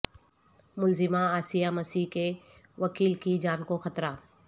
ملزمہ عاصیہ مسیح کے وکیل کی جان کو خطرہ